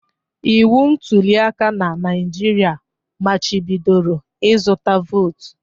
Iwu ntulịaka na Naịjirịa machibidoro ịzụta vootu